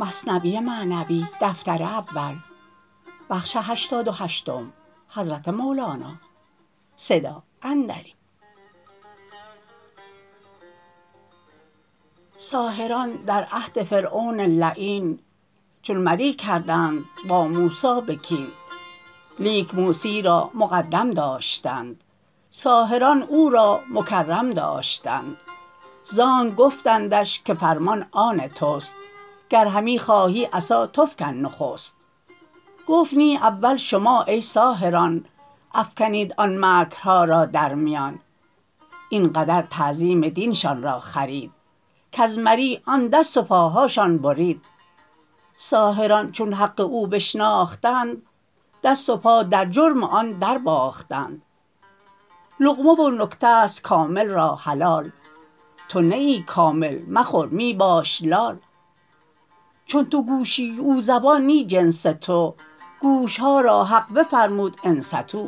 ساحران در عهد فرعون لعین چون مری کردند با موسی بکین لیک موسی را مقدم داشتند ساحران او را مکرم داشتند زانک گفتندش که فرمان آن تست گر همی خواهی عصا تو فکن نخست گفت نی اول شما ای ساحران افکنید ان مکرها را در میان این قدر تعظیم دینشان را خرید کز مری آن دست و پاهاشان برید ساحران چون حق او بشناختند دست و پا در جرم آن در باختند لقمه و نکته ست کامل را حلال تو نه ای کامل مخور می باش لال چون تو گوشی او زبان نی جنس تو گوشها را حق بفرمود انصتوا